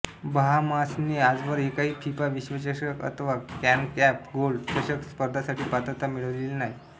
बहामासने आजवर एकाही फिफा विश्वचषक अथवा कॉन्ककॅफ गोल्ड चषक स्पर्धांसाठी पात्रता मिळवलेली नाही